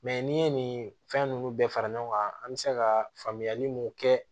n'i ye nin fɛn ninnu bɛɛ fara ɲɔgɔn kan an bɛ se ka faamuyali mun kɛ